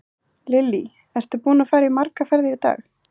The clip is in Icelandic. Lillý: Ertu búinn að fara margar ferðir í dag?